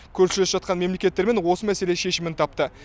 көршілес жатқан мемлекеттермен осы мәселе шешімін тапты